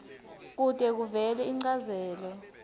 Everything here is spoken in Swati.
kute kuvele inchazelo